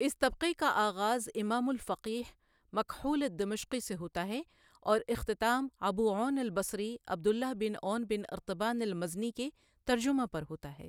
اِس طبقہ کا آغاز امام الفقیہ مکحول الدمشقی سے ہوتا ہے اور اختتام ابو عون البصری عبد اللہ بن عون بن ارطبان المزنی کے ترجمہ پر ہوتا ہے ۔